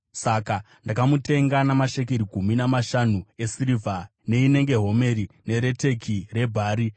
Saka ndakamutenga namashekeri gumi namashanu esirivha neinenge homeri nereteki rebhari.